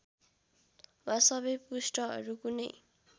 वा सबै पृष्ठहरू कुनै